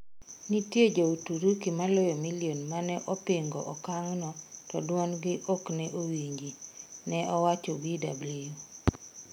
Nitie jo Uturuki maloyo million maneopingo okangno to duondgi ne okowinji, neowacho Bw.